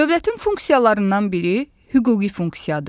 Dövlətin funksiyalarından biri hüquqi funksiyadır.